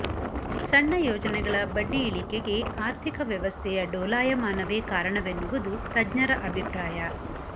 ಸಣ್ಣ ಯೋಜನೆಗಳ ಬಡ್ಡಿ ಇಳಿಕೆಗೆ ಆರ್ಥಿಕ ವ್ಯವಸ್ಥೆಯ ಡೋಲಾಯಮಾನವೇ ಕಾರಣವೆನ್ನುವುದು ತಜ್ಞರು ಅಭಿಪ್ರಾಯ